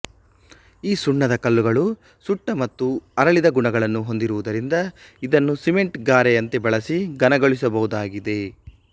ಈ ಸುಣ್ಣದ ಕಲ್ಲುಗಳು ಸುಟ್ಟ ಮತ್ತು ಅರಳಿದ ಗುಣಗಳನ್ನು ಹೊಂದಿರುವುದರಿಂದ ಇದನ್ನು ಸಿಮೆಂಟ್ ಗಾರೆಯಂತೆ ಬಳಸಿ ಘನಗೊಳಿಸಬಹುದಾಗಿದೆ